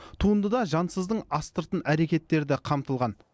туындыда жансыздың астыртын әрекеттері де қамтылған